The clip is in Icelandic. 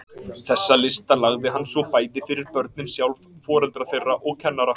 Þessa lista lagði hann svo bæði fyrir börnin sjálf, foreldra þeirra og kennara.